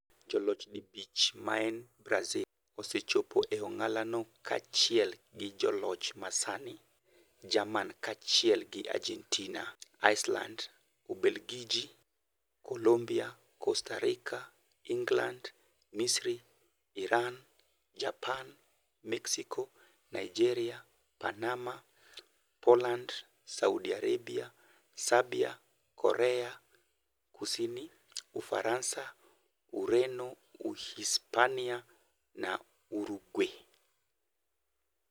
Joloch dibich maen Brasil osechopo e ong'alano, kaachiel gi joloch masani, Jerman, kaachiel gi Argentina, Iceland, Ubelgiji, Colombia, Costa Rica, England, Misri, Iran, Japan, Mexico, Nigeria, Panama, Poland, Saudi Arabia, Serbia, Korea Kusini, Ufaransa, Ureno, Uhispania na Uruguay.